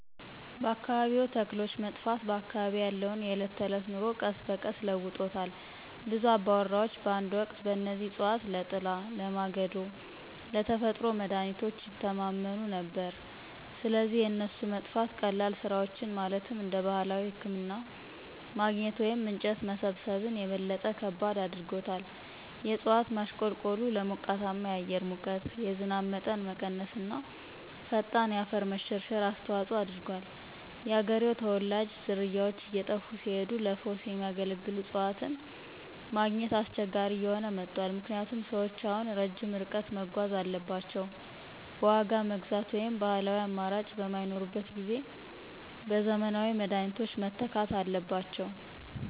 የአካባቢያዊ ተክሎች መጥፋት በአካባቢዬ ያለውን የዕለት ተዕለት ኑሮ ቀስ በቀስ ለውጦታል. ብዙ አባወራዎች በአንድ ወቅት በእነዚህ እፅዋት ለጥላ፣ ለማገዶ እና ለተፈጥሮ መድሀኒቶች ይተማመኑ ነበር፣ ስለዚህ የእነሱ መጥፋት ቀላል ስራዎችን ማለትም እንደ ባህላዊ ህክምና ማግኘት ወይም እንጨት መሰብሰብን - የበለጠ ከባድ አድርጎታል። የእጽዋት ማሽቆልቆሉ ለሞቃታማ የአየር ሙቀት፣ የዝናብ መጠን መቀነስ እና ፈጣን የአፈር መሸርሸር አስተዋጽኦ አድርጓል። የአገሬው ተወላጆች ዝርያዎች እየጠፉ ሲሄዱ ለፈውስ የሚያገለግሉ እፅዋትን ማግኘት አስቸጋሪ እየሆነ መጥቷል ምክንያቱም ሰዎች አሁን ረጅም ርቀት መጓዝ አለባቸው፣ በዋጋ መግዛት ወይም ባህላዊው አማራጮች በማይኖሩበት ጊዜ በዘመናዊ መድኃኒቶች መተካት አለባቸው።